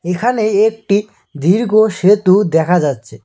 এখানে একটি দীর্ঘ সেতু দেখা যাচ্ছে।